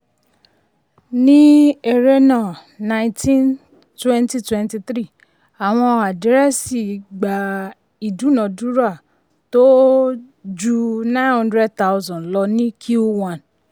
ní um ẹrẹ́nà nineteen twenty twenty three àwọn àdírẹ́sì gba ìdúnádúrà tó um ju um nine hundred thousand lọ ní q one.